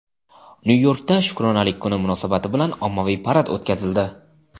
Nyu-Yorkda Shukronalik kuni munosabati bilan ommaviy parad o‘tkazildi.